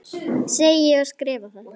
Segi og skrifa það.